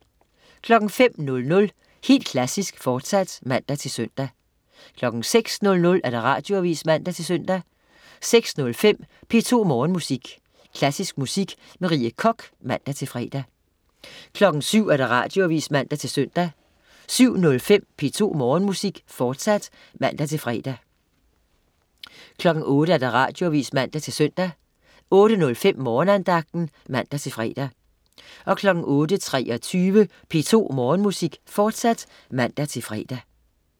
05.00 Helt Klassisk, fortsat (man-søn) 06.00 Radioavis (man-søn) 06.05 P2 Morgenmusik. Klassisk musik med Rie Koch (man-fre) 07.00 Radioavis (man-søn) 07.05 P2 Morgenmusik, fortsat (man-fre) 08.00 Radioavis (man-søn) 08.05 Morgenandagten (man-fre) 08.23 P2 Morgenmusik, fortsat (man-fre)